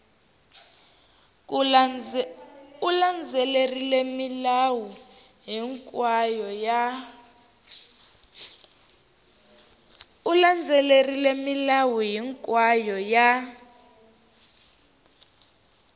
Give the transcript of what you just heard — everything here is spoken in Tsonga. u landzelerile milawu hinkwayo ya